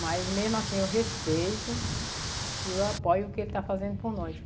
Mas, mesmo assim, eu respeito e apoio o que ele está fazendo por nós.